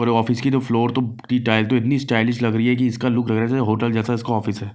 और ऑफिस की जो फ्लोर तो इतनी स्टाइलिश लग रही है कि इसका लुक होटल जैसा उसका ऑफिस है।